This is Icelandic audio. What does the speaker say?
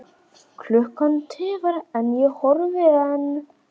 Klukkan tifar en ég horfi enn.